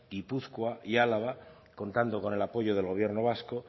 guipúzcoa y álava contando con el apoyo del gobierno vasco